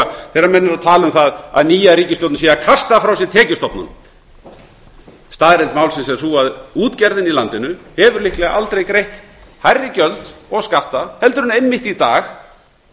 þegar menn tala um það að nýja ríkisstjórnin sé að kasta frá sér tekjustofnunum staðreynd málsins er sú að útgerðin í landinu hefur líklega aldrei greitt hærri gjöld og skatta en einmitt í dag